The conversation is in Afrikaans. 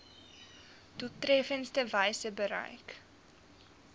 doeltreffendste wyse bereik